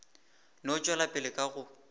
no tšwela pele ka go